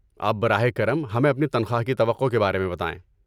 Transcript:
اب براہ کرم ہمیں اپنی تنخواہ کی توقع کے بارے میں بتائیں۔